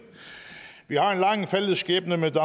vi har en lang fælles skæbne med